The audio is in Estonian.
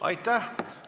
Aitäh!